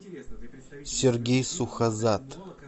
сергей сухозад